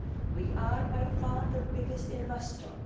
We are by far the biggest investor.